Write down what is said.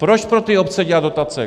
Proč pro ty obce dělat dotace?